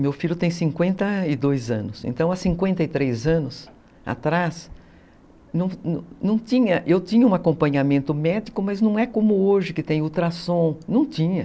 Meu filho tem cinquenta e dois anos, então há cinquenta e três anos atrás, eu tinha um acompanhamento médico, mas não é como hoje que tem ultrassom, não tinha.